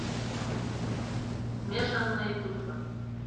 смешанные чувства